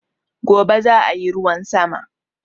Gobe zaayi ruwan sama